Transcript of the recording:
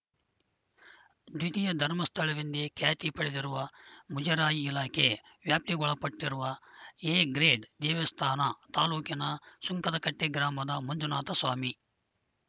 ದ್ವಿತೀಯ ಧರ್ಮಸ್ಥಳವೆಂದೇ ಖ್ಯಾತಿ ಪಡೆದಿರುವ ಮುಜರಾಯಿ ಇಲಾಖೆ ವ್ಯಾಪ್ತಿಗೊಳಪಟ್ಟಿರುವ ಎ ಗ್ರೇಡ್‌ ದೇವಸ್ಥಾನ ತಾಲೂಕಿನ ಸುಂಕದಕಟ್ಟೆಗ್ರಾಮದ ಮಂಜುನಾಥ ಸ್ವಾಮಿ